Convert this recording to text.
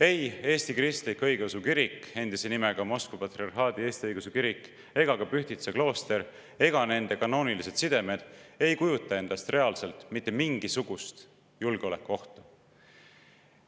Ei Eesti Kristlik Õigeusu Kirik, endise nimega Moskva Patriarhaadi Eesti Õigeusu Kirik, ega ka Pühtitsa klooster ega nende kanoonilised sidemed ei kujuta endast reaalselt mitte mingisugust julgeolekuohtu.